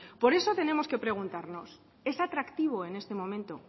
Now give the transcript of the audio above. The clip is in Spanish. por eso tenemos que preguntarnos es atractivo en este momento